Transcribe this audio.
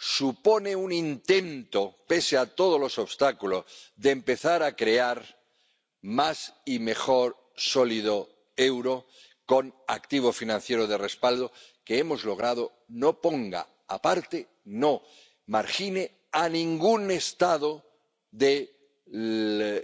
Supone un intento, pese a todos los obstáculos, de empezar a crear un euro mejor y más sólido con activo financiero de respaldo, que hemos logrado que no ponga aparte, que no margine a ningún Estado del